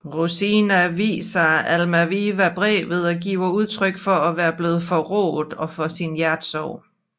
Rosina viser Almaviva brevet og giver udtryk for at være blevet forrådt og for sin hjertesorg